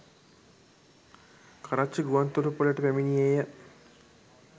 කරච්චි ගුවන්තොටුපලට පැමිණියේය.